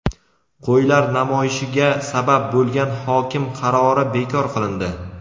"Qo‘ylar namoyishi"ga sabab bo‘lgan hokim qarori bekor qilindi.